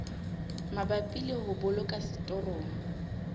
mabapi le ho boloka setorong